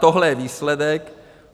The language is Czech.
Tohle je výsledek.